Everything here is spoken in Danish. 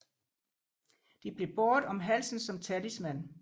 De blev båret om halsen som talisman